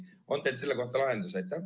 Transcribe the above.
On teil selle kohta lahendus?